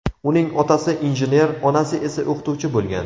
Uning otasi injener, onasi esa o‘qituvchi bo‘lgan.